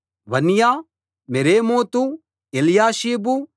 Vanya Meremoth Eliashib